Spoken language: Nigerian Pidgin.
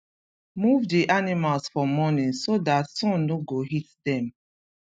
move the animals for morning so dat sun no go hit dem